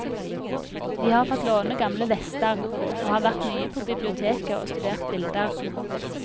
Vi har fått låne gamle vester, og har vært mye på biblioteket og studert bilder.